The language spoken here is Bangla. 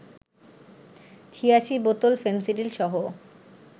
৮৬ বোতল ফেনসিডিলসহ